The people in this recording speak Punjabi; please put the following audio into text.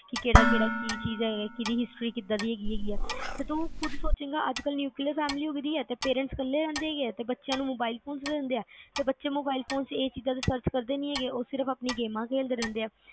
ਕਿ ਕਿਹੜਾ ਕਿਹੜਾ ਕੀ ਚੀਜ਼ ਆ ਕੀਦੀ ਕਿ history ਆ, ਤੇ ਤੂੰ ਖੁਦ ਸੋਚੇਗਾ ਅੱਜ ਕੱਲ neuclear family ਹੈਗੀ ਆ parents ਕੱਲੇ ਰਹਿੰਦੇ ਆ ਬੱਚਿਆਂ ਨੂੰ mobile phone ਦਿੱਤੇ ਆ ਤੇ ਬੱਚੇ mobile phone ਤੇ ਇਹ ਚੀਜ਼ search ਕਰਦੇ ਨੀ ਹੈਗੇ ਆ ਉਹ ਆਪਣਾ games ਖੇਲਦੇ ਰਹਿੰਦੇ ਆ